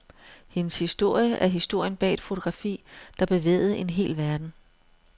Hendes historie er historien bag et fotografi, der bevægede en hel verden.